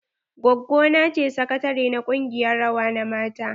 Gwaggo na ce sakatare na ƙungiyar rawa na mata.